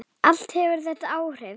Allt hefur þetta áhrif.